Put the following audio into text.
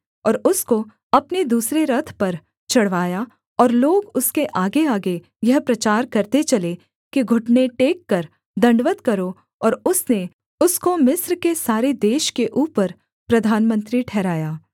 और उसको अपने दूसरे रथ पर चढ़वाया और लोग उसके आगेआगे यह प्रचार करते चले कि घुटने टेककर दण्डवत् करो और उसने उसको मिस्र के सारे देश के ऊपर प्रधानमंत्री ठहराया